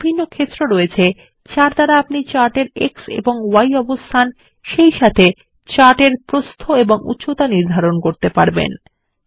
এতে বিভিন্ন ক্ষেত্র রয়েছে যার দ্বারা আপনি চার্ট এর এক্স এবং Y অবস্থান সেইসাথে চার্ট এর প্রস্থ ও উচ্চতা নির্ধারন করতে পারেন